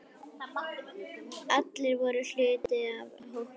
Allir voru hluti af hópnum.